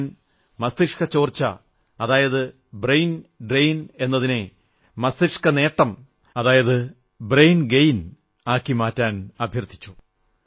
ഞാൻ മസ്തിഷ്ക ചോർച്ച ബ്രയിൻ ഡ്രെയിൻ എന്നതിനെ മസ്തിഷ്കനേട്ട ബ്രയിൻ ഗെയിൻ മാക്കി മാറ്റാൻ അഭ്യർഥിച്ചു